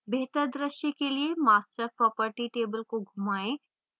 बेहतर द्रश्य के लिए master property table को घुमाएं